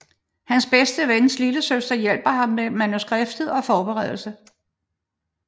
Hans bedste vens lillesøster hjælper ham med manuskriptet og forberedelse